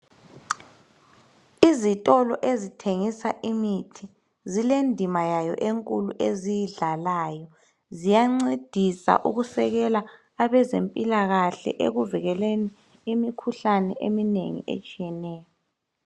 Izitolo ezithengisa imithi zile ndima yayo enkulu eziyidlalayo. Ziyancedisa ukusekela abezempilakahle ekuvikeleni imikhuhlane eminengi etshiyeneyo.